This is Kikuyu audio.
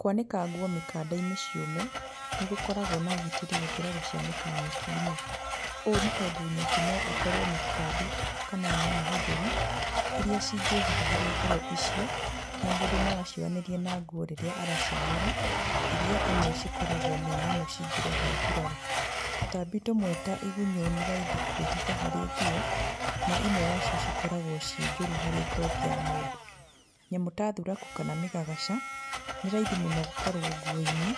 Kwanĩka nguo mĩkanda-inĩ ciũme, nĩ gũkoragwo na ũgitĩri gũkĩra gũcianĩka nyeki-inĩ. Ũũ nĩ tondũ nyeki no ĩkorwo na tũtambi kana nyamũ njũru, iria cingĩhitha harĩ nguo icio na mũndũ no acioyanĩrie na nguo rĩrĩa aracianũra, iria imwe cikoragwo nĩ nyamũ cingĩrehe nguraro. Tũtambi tũmwe ta igunyũ nĩ raithi kwĩhitha harĩ nguo, na imwe wacio cikoragwo ciĩ njũru harĩ ngothi ya mũndũ. Nyamũ ta thuraku kana mĩgagaca nĩ raithi mũno gũkorwo nguo-inĩ,